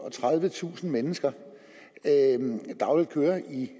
og tredivetusind mennesker dagligt kører i